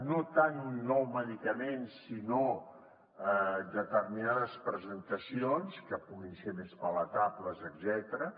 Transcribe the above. no tant un nou medicament sinó determinades presentacions que puguin ser més palatables etcètera